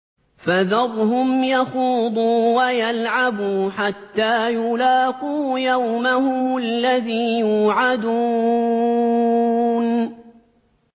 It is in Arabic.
فَذَرْهُمْ يَخُوضُوا وَيَلْعَبُوا حَتَّىٰ يُلَاقُوا يَوْمَهُمُ الَّذِي يُوعَدُونَ